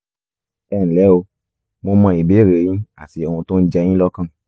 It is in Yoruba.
ẹnlẹ́ o mo mọ ìbéèrè yín àti ohun tó ń jẹ yín lọ́kàn